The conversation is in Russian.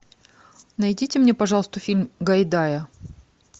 найдите мне пожалуйста фильм гайдая